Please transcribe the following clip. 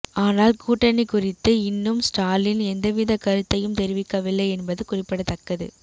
ஆனால் கூட்டணி குறித்து இன்னும் ஸ்டாலின் எந்தவித கருத்தையும் தெரிவிக்கவில்லை என்பது குறிப்பிடத்தக்கது